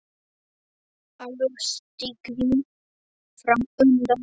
Allur stiginn fram undan.